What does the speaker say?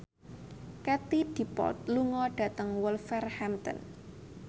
Katie Dippold lunga dhateng Wolverhampton